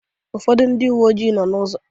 Ụfọdụ ndị uwe ojii nọọ n'ụzọ.